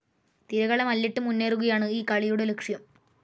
തിരകളെ മല്ലിട്ട് മുന്നേറുകയാണ് ഈ കളിയുടെ ലക്ഷ്യം.